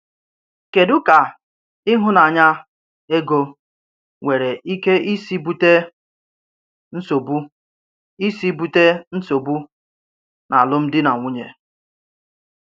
Kédù ka ịhụ́nanya égò nwere ike ísì bùté nsọ́bù ísì bùté nsọ́bù n’álụ́m̀dí nà nwụ̀nyè.